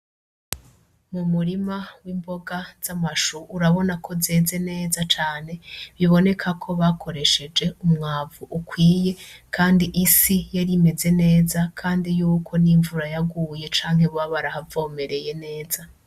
N'umurima w'imboga zamashu urabona ko zeze neza cane ,biboneka ko bakoresheje umwavu ukwiye, Kandi isi yari imeze neza ,kandi yuko nimvura yaguye canke boba barahavomereye neza.